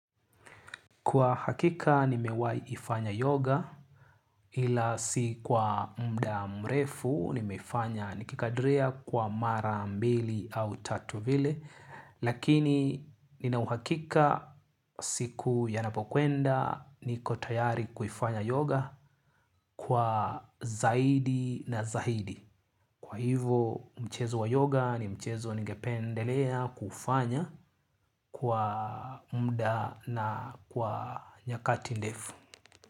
Kwa hakika nimewai ifanya yoga ila si kwa muda mrefu nimefanya nikikadiria kwa mara mbili au tatu vile lakini nina uhakika siku yanapokwenda niko tayari kuifanya yoga kwa zaidi na zaidi. Kwa hivo mchezo wa yoga ni mchezo ningependelea kufanya kwa muda na kwa nyakati ndefu.